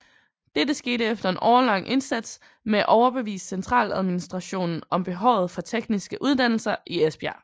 Dette skete efter en årelang indsats med at overbevise centraladministrationen om behovet for tekniske uddannelser i Esbjerg